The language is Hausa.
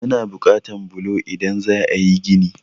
Ana buƙatan bulo idan za a yí gini.